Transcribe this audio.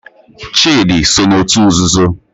Chidi so n'otu nzuzo